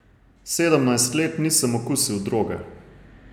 Sedemnajst let nisem okusil droge.